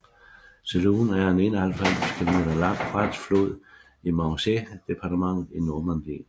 Sélune er en 91 km lang fransk flod i Manche departmentet i Normandiet